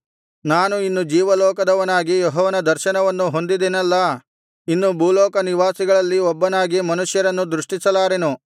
ನಾನು ಇನ್ನು ಜೀವಲೋಕದವನಾಗಿ ಯೆಹೋವನ ದರ್ಶನವನ್ನು ಹೊಂದಿದೆನಲ್ಲಾ ಇನ್ನು ಭೂಲೋಕ ನಿವಾಸಿಗಳಲ್ಲಿ ಒಬ್ಬನಾಗಿ ಮನುಷ್ಯರನ್ನು ದೃಷ್ಟಿಸಲಾರೆನು